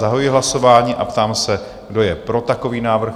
Zahajuji hlasování a ptám se, kdo je pro takový návrh?